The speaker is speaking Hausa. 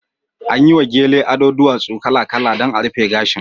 An yi wa gele ado duwatsu kala-kala dan a rufe gashin